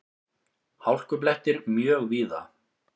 Hálkublettir mjög víða